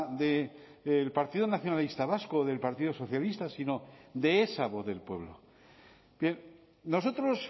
del partido nacionalista vasco o del partido socialista sino de esa voz del pueblo nosotros